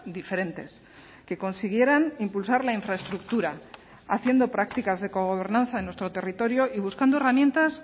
diferentes que consiguieran impulsar la infraestructura haciendo prácticas de cogobernanza en nuestro territorio y buscando herramientas